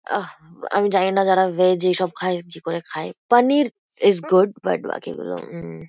আহ আমি জানি না যারা ভেজ এইসব খায় কি করে খায় পানির ইস গুড বাট বাকিগুলো উম।